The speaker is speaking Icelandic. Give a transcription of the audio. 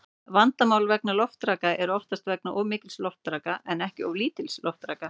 Vandamál vegna loftraka eru þó oftast vegna of mikils loftraka en ekki of lítils loftraka.